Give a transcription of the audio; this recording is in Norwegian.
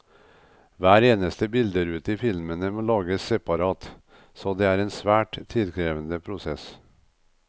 Hver eneste bilderute i filmene må lages separat, så det er en svært tidkrevende prosess.